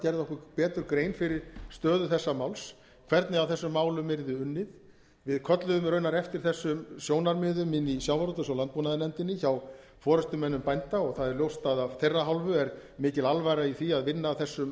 gerði okkur betur grein fyrir stöðu þessa máls hvernig að þessum málum yrði unnið við kölluðum raunar eftir þessum sjónarmiðum inni í sjávarútvegs og landbúnaðarnefndinni hjá forustumönnum bænda og það er ljóst að af þeirra hálfu er mikil alvara í því að vinna að þessum